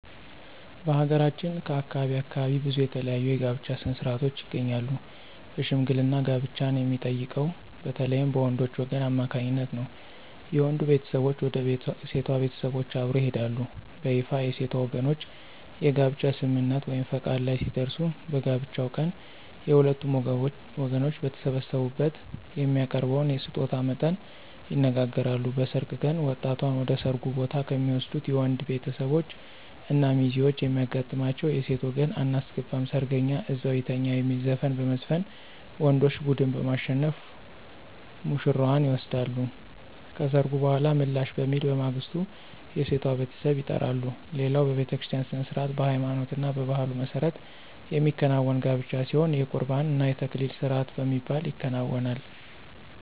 በሀገራችን ከአካባቢ አካባቢ ብዙ የተለያዩ የጋብቻ ሥነ-ሥርዓቶች ይገኛሉ በሽምግልና ጋብቻን የሚጠይቀው በተለይም በወንዶች ወገን አማካኝነት ነው። የወንዱ ቤተሰቦች ወደ ሴቷ ቤተሰቦች አብረው ይሄዳሉ። በይፋ የሴቷ ወገኖች የጋብቻ ስምምነት(ፈቃድ) ላይ ሲደርሱ በጋብቻው ቀን የሁለቱም ወገኖች በተሰበሰቡበት የሚያቀርበውን የስጦታ መጠን ይነጋገራሉ። በሰርግ ቀን ወጣቷን ወደ ሰርጉ ቦታ ከሚወስዱት የወንዶች ቤተሰቦች እና ሚዜዎች የሚያጋጥማቸው የሴት ወገን *አናስገባም ሰርገኛ እዛው ይተኛ* የሚል ዘፈን በመዝፈን ወንዶች ቡድን በማሸነፍ ውሽራዋን ይወስዳሉ። ከሰርጉ በኃላ ምላሽ በሚል በማግስቱ የሴቷ ቤተሰብ ይጠራሉ። ሌላው በቤተክርስቲያ ሥነ-ሥርዓት በሃይማኖትና በባህሉ መሠረት የሚከናወን ጋብቻ ሲሆን የቁርባን እና የተክሊል ስርአት በሚባል ይከናወናል።